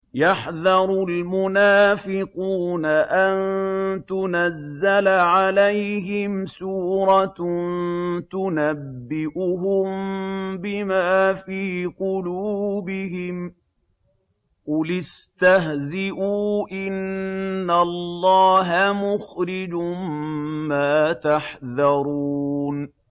يَحْذَرُ الْمُنَافِقُونَ أَن تُنَزَّلَ عَلَيْهِمْ سُورَةٌ تُنَبِّئُهُم بِمَا فِي قُلُوبِهِمْ ۚ قُلِ اسْتَهْزِئُوا إِنَّ اللَّهَ مُخْرِجٌ مَّا تَحْذَرُونَ